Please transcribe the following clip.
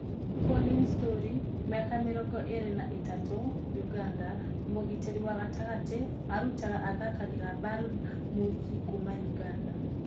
Collins Tori , mĩaka mĩrongo ĩrĩ na ĩtatũ (Ũganda) mũgitĩri wa gatagatĩ arutaga athakagĩra Bernb Muchi kuuma Ũganda.